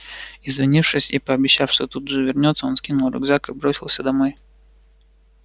извинившись и пообещав что тут же вернётся он скинул рюкзак и бросился домой